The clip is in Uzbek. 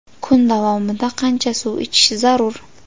Kun davomida qancha suv ichish zarur?